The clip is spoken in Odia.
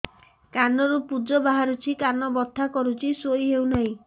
କାନ ରୁ ପୂଜ ବାହାରୁଛି କାନ ବଥା କରୁଛି ଶୋଇ ହେଉନାହିଁ